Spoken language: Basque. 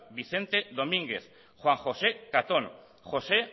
vicente domínguez juan josé catón josé